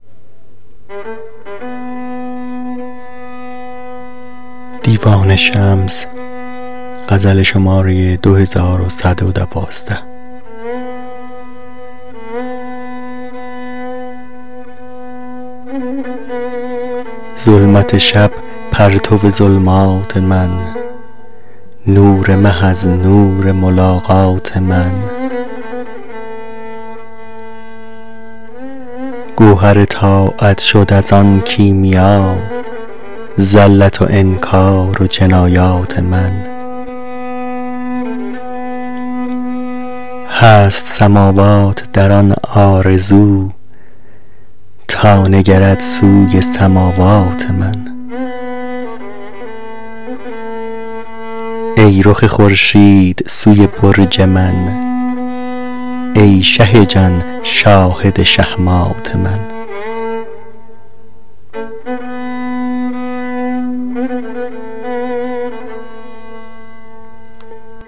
ظلمت شب پرتو ظلمات من نور مه از نور ملاقات من گوهر طاعت شد از آن کیمیا زلت و انکار و جنایات من هست سماوات در آن آرزو تا نگرد سوی سماوات من ای رخ خورشید سوی برج من ای شه جان شاهد شهمات من